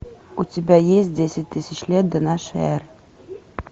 у тебя есть десять тысяч лет до нашей эры